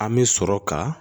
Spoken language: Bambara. An bɛ sɔrɔ ka